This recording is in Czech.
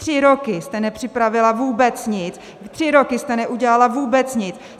Tři roky jste nepřipravila vůbec nic, tři roky jste neudělala vůbec nic.